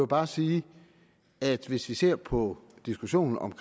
bare sige at hvis vi ser på diskussionen om